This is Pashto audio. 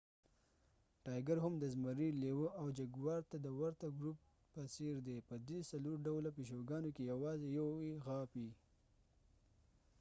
ټایګر هم د زمري، لیوه او جګوار ته د ورته ګروپ ګینس پنترا په څیر دي. په دې څلور ډوله پیشوګانو کې یوازې یو یې غاپي